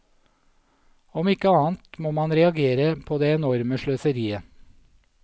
Om ikke annet må man reagere på det enorme sløseriet.